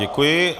Děkuji.